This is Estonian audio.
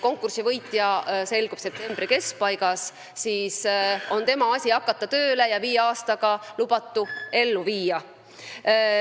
Konkursi võitja selgub septembri keskpaigas ja siis on tema asi tööle hakata ja lubatu viie aastaga ellu viia.